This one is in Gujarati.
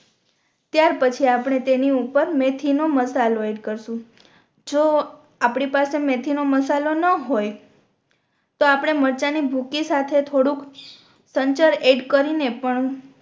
ત્યાર પછી આપણે તેની ઉપર મેથી નો મસાલો એડ કરશુ જો આપણી પાસે મેથી નો મસાલો ના હોય તો આપણે મરચાં ની ભૂકી સાથે થોડુક સંચર એડ કરીને પણ